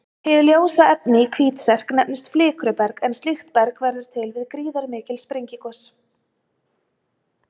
Hið ljósa efni í Hvítserk nefnist flikruberg en slíkt berg verður til við gríðarmikil sprengigos.